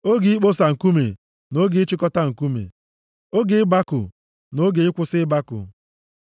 oge ikposa nkume na oge ịchịkọta nkume, oge ịbakụ na oge ịkwụsị ịbakụ,